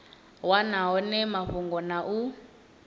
wana hone mafhungo na u